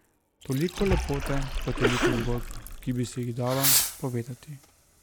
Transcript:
Toliko lepote pa toliko zgodb, ki bi se jih dalo povedati.